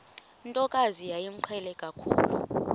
ntokazi yayimqhele kakhulu